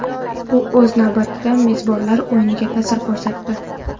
Bu o‘z navbatida mezbonlar o‘yiniga ta’sir ko‘rsatdi.